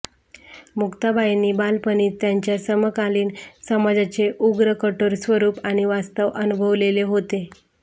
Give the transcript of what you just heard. मुक्ताबाईंनी बालपणीच त्यांच्या समकालीन समाजाचे उग्र कठोर स्वरूप आणि वास्तव अनुभवलेले होते